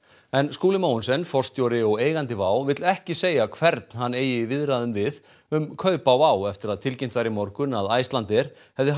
Skúli Mogensen forstjóri og eigandi WOW vill ekki segja hvern hann eigi í viðræðum við um kaup á WOW eftir að tilkynnt var í morgun að Icelandair hefði